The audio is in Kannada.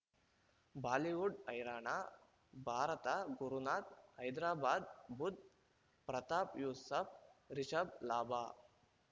ಬಾಲಿವುಡ್ ಹೈರಾಣ ಭಾರತ ಗುರುನಾಥ ಹೈದರಾಬಾದ್ ಬುಧ್ ಪ್ರತಾಪ್ ಯೂಸುಫ್ ರಿಷಬ್ ಲಾಭ